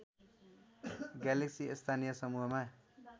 galaxy स्थानीय समूहमा